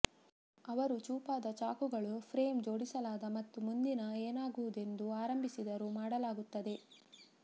ಅವರು ಚೂಪಾದ ಚಾಕುಗಳು ಫ್ರೇಮ್ ಜೋಡಿಸಲಾದ ಮತ್ತು ಮುಂದಿನ ಏನಾಗುವುದೆಂದು ಆರಂಭಿಸಿದರು ಮಾಡಲಾಗುತ್ತದೆ